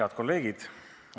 Head kolleegid!